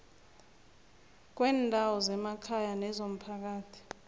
kweendawo zemakhaya nekomphakathi